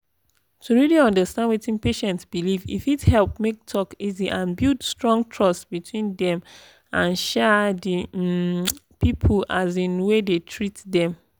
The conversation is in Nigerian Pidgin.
to really understand wetin patient believe e fit help make talk easy and build strong trust between dem and um the um people um wey dey treat dem.